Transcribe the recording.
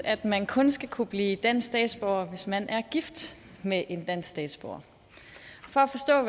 at man kun skal kunne blive dansk statsborger hvis man er gift med en dansk statsborger for